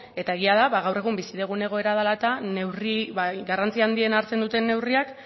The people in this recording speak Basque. eta egia da gaur egun bizi dugun egoera dela eta garrantzi handiena hartzen duten neurriak